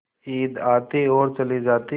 ईद आती और चली जाती